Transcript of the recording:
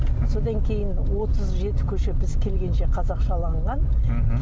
содан кейін отыз жеті көше біз келгенше қазақшаланған мхм